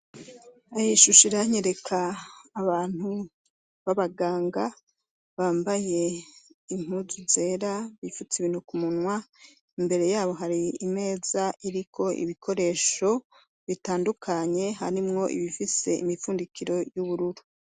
Ayishusha iranyereka abantu b'abaganga bambaye inkuzu zera bifutse ibintu ku munwa imbere yabo hari imeza iriko ibikoresho bitandukanye harimwo ibifise imipfundikiro y'ubururu.